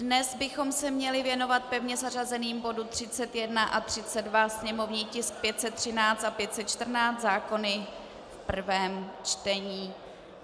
Dnes bychom se měli věnovat pevně zařazeným bodům 31 a 32, sněmovní tisky 513 a 514, zákony v prvém čtení.